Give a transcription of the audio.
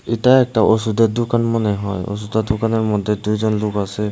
এটা একটা ওষুধের দোকান মনে হয় ওষুধের দোকানের মধ্যে দুইজন লোক আসে।